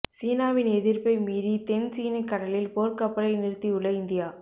சீனாவின் எதிர்ப்பை மீறி தென் சீன கடலில் போர்க்கப்பலை நிறுத்தியுள்ள இந்தியா